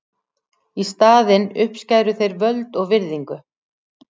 Í staðinn uppskæru þeir völd og virðingu.